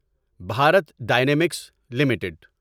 Bharat Dynamics limited